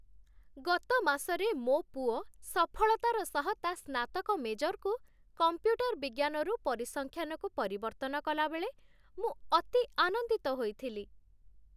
ଗତ ମାସରେ ମୋ ପୁଅ ସଫଳତାର ସହ ତା' ସ୍ନାତକ ମେଜର୍‌କୁ କଂପ୍ୟୁଟର ବିଜ୍ଞାନରୁ ପରିସଂଖ୍ୟାନକୁ ପରିବର୍ତ୍ତନ କଲାବେଳେ ମୁଁ ଅତି ଆନନ୍ଦିତ ହୋଇଥିଲି।